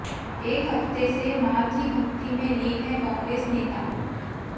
एक हफ्ते से मां की भक्ति में लीन हैं कांग्रेस नेता